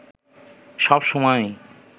সব সময়ই